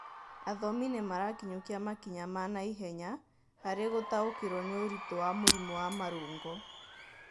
Athomi nĩmarakinyũkia makinya ma naihenya harĩ gũtaũkĩrwo nĩ ũritũ wa mũrimũ wa marũngo